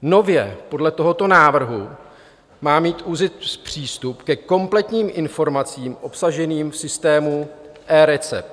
Nově podle tohoto návrhu má mít ÚZIS přístup ke kompletním informacím obsaženým v systému eRecept.